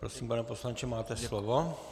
Prosím, pane poslanče, máte slovo.